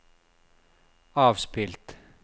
avspilt